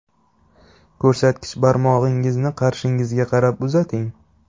Ko‘rsatkich barmog‘ingizni qarshingizga qarab uzating.